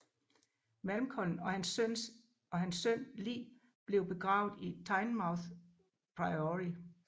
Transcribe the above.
Malcolm og hans søn lig blev begravet i Tynemouth Priory